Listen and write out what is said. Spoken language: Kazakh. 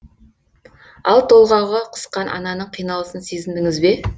ал толғағы қысқан ананың қиналысын сезіндіңіз бе